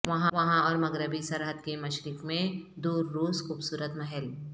وہاں اور مغربی سرحد کے مشرق میں دور روس خوبصورت محل